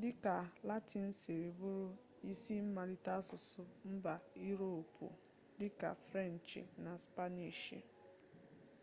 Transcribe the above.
dịka latịn siri bụrụ isi mmalite asụsụ mba iroopu dịka frenchị na spaniishi